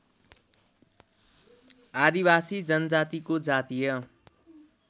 आदिवासी जनजातिको जातीय